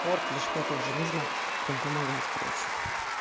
спорт или что то же нужно прям помогать короче